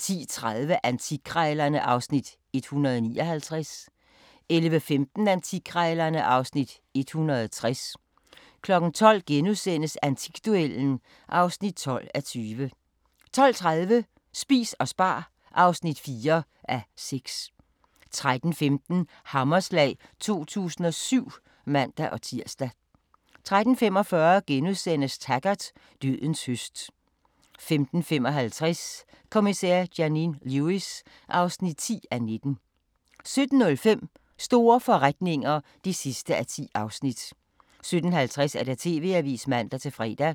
10:30: Antikkrejlerne (Afs. 159) 11:15: Antikkrejlerne (Afs. 160) 12:00: Antikduellen (12:20)* 12:30: Spis og spar (4:6) 13:15: Hammerslag 2007 (man-tir) 13:45: Taggart: Dødens høst * 15:55: Kommissær Janine Lewis (10:19) 17:05: Store forretninger (10:10) 17:50: TV-avisen (man-fre)